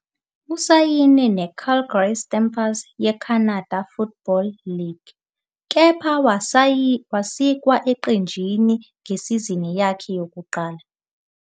Usayine neCalgary Stampers yeCanada Football League, CFL, kepha wasikwa eqenjini ngesizini yakhe yokuqala.